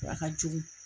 A ka jugu